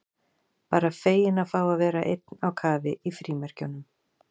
Bara feginn að fá að vera einn á kafi í frímerkjunum.